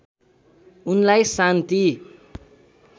उनलाई शान्ति